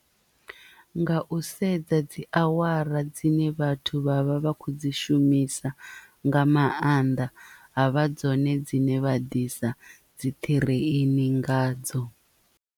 Nga u sedza dzi awara dzine vhathu vha vha vha khou dzi shumisa nga maanḓa ha vha dzone dzine vha ḓisa dzi ṱhireini ngadzo.